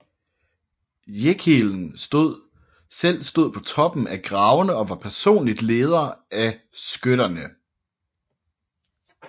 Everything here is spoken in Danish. Jeckeln selv stod på toppen af gravene og var personligt leder af skytterne